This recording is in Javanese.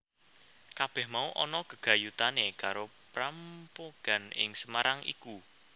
Kabèh mau ana gegayutané karo prampogan ing Semarang iku